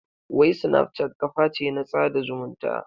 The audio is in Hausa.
Wai snapchat kaface na tsada zumunta?